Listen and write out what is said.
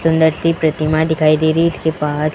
सुंदर सी प्रतिमा दिखाई दे रही इसके बाद--